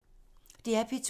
DR P2